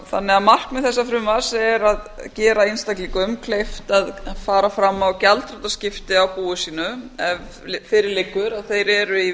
þannig að markmið þessa frumvarps er að gera einstaklingum kleift að fara fram á gjaldþrotaskipti á búi sínu ef fyrir liggur að þeir eru í